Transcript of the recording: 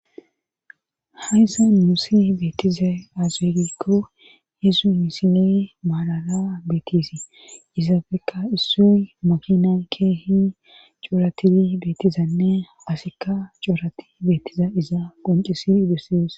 Hayssa musi beetiza azeegikko heesu misine maalala beetisii izaafekka issuy makina keehi coratii beetizanne asikka coorati beettiza iza qoncisi dossees.